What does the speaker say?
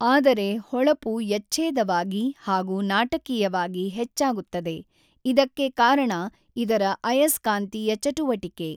ಆದರೆ ಹೊಳಪು ಯಛ್ಚೇದವಾಗಿ ಹಾಗೂ ನಾಟಕೀಯವಾಗಿ ಹೆಚ್ಚಾಗುತ್ತದೆ ಇದಕ್ಕೆ ಕಾರಣ ಇದರ ಅಯಸ್ಕಾಂತೀಯ ಚಟುವಟಿಕೆ.